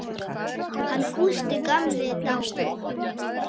Hann Gústi gamli er dáinn.